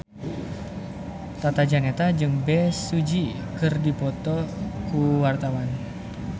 Tata Janeta jeung Bae Su Ji keur dipoto ku wartawan